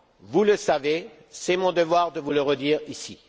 Vous le savez, c'est mon devoir de vous le redire ici.